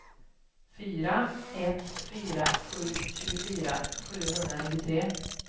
fyra ett fyra sju tjugofyra sjuhundranittiotre